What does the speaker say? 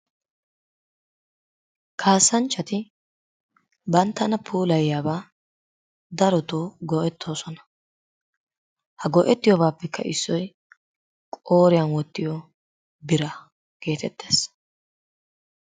Kaasanchchati bantana puulayiyaba darotoo go'etoosona. ha go'ettiyoobaapekka issoy qooriyan wottiyo biraa geetettees.